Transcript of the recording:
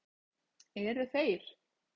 Eru þeir